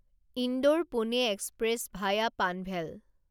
Indore Pune express via Panvel